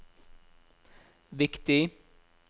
viktig